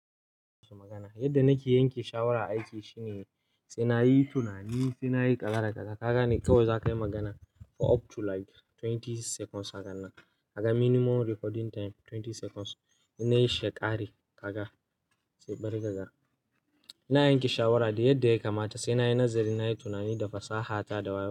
Yadda nake yanke shawara aiki shine sai na yi tunani, sai na yi kaza a da kaza Kaga ne kawai za ka yi magana for up to like twenty seconds a hakanan kaga minimum recording time twenty seconds. Ina yi sheƙari, kaga, sai bari ka ga. Ina yanke shawara da yadda ya kamata sai na yi nazari, na yi tunani da fasaha ta da waye.